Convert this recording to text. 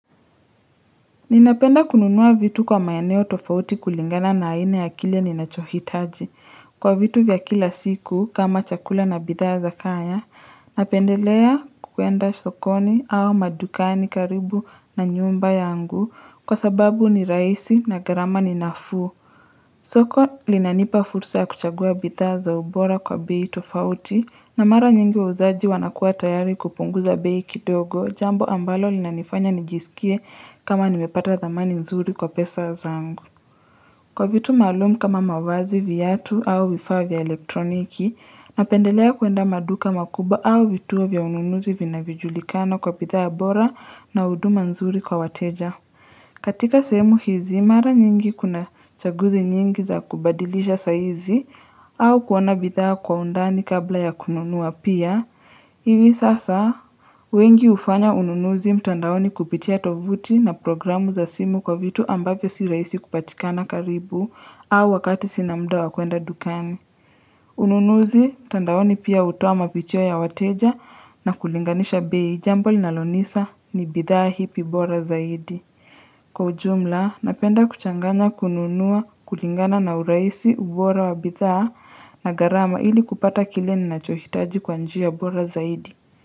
Ninapenda kununua vitu kwa maeneo tofauti kulingana na aina ya kile ninachohitaji. Kwa vitu vya kila siku kama chakula na bidhaa za kaya, napendelea kuenda sokoni au madukani karibu na nyumba yangu kwa sababu ni rahisi na gharama ni nafuu. Soko linanipa fursa ya kuchagua bidhaa za ubora kwa bei tofauti na mara nyingi wauzaji wanakuwa tayari kupunguza bei kidogo jambo ambalo linanifanya nijisikie kama nimepata thamani nzuri kwa pesa zangu. Kwa vitu maalum kama mavazi viatu au vifaa vya elektroniki napendelea kuenda maduka makubwa au vituo vya ununuzi vinavyojulikana kwa bidhaa bora na huduma nzuri kwa wateja. Katika sehemu hizi, mara nyingi kuna chaguzi nyingi za kubadilisha sahizi au kuona bidhaa kwa undani kabla ya kununua pia. Hivi sasa, wengi hufanya ununuzi mtandaoni kupitia tovuti na programu za simu kwa vitu ambavyo si rahisi kupatikana karibu au wakati sina mda wa kuenda dukani. Ununuzi, mtandaoni pia hutoa mapicha ya wateja na kulinganisha bei jambo linalonisa ni bidhaa ipi bora zaidi. Kwa ujumla, napenda kuchanganya kununua kulingana na urahisi ubora wa bidhaa na gharama ili kupata kile ninachohitaji kwa njia bora zaidi.